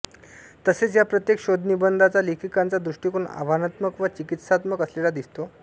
तसेच या प्रत्येक शोधनिबंधांचा लेखिकांचा दृष्टिकोन आव्हानात्मक व चिकित्सात्मक असलेला दिसतो